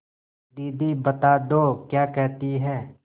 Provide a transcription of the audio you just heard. दीदी बता दो क्या कहती हैं